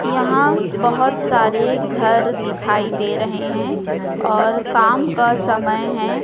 यहां बहोत सारे घर दिखाई दे रहे हैं और शाम का समय है।